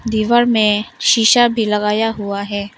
दीवार में शीशा भी लगाया हुआ है।